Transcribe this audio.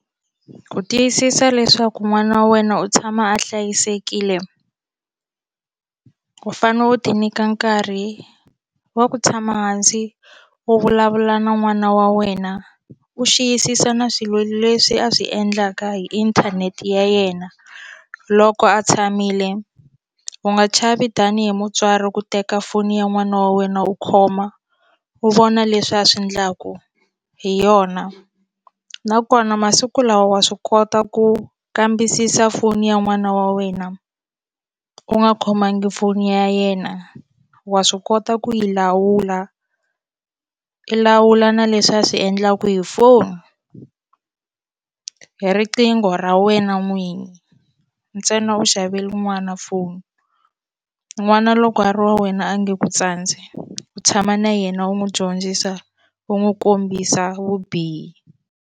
Ku tiyisisa leswaku n'wana wa wena u tshama a hlayisekile u fanele u ti nyika nkarhi wa ku tshama hansi u vulavula na n'wana wa wena u xiyisisa na swilo leswi a swi endlaka hi inthanete ya yena loko a tshamile u nga chavi tanihi mutswari ku teka foni ya n'wana wa wena u khoma u vona leswi a swi endlaku hi yona nakona masiku lawa wa swi kota ku kambisisa foni ya n'wana wa wena u nga khomangi foni ya yena wa swi kota ku yi lawula i lawula na leswi a swi endlaku hi foni hi riqingho ra wena n'wini ntsena u xavele n'wana foni n'wana loko a ri wa wena a nge ku tsandzi u tshama na yena u n'wi dyondzisa u n'wi kombisa vubihi.